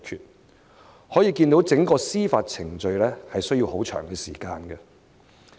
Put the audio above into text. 由此可見，整個司法程序需要很長的時間。